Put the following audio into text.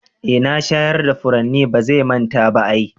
Eh na shayar da furanni, bazan manta ba ai.